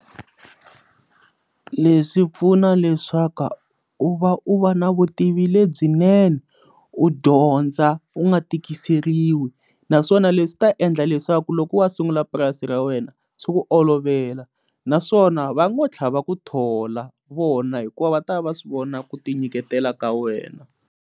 Leswi pfuna leswaku u va u va na vutivi lebyinene u dyondza u nga tikiseriwe naswona leswi ta endla leswaku loko wa sungula purasi ra wena swo ku olovela naswona va n'wi tlhava ku thola vona hikuva va ta va swi vona ku ti nyiketela ka wena.